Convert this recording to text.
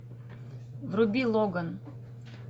вруби логан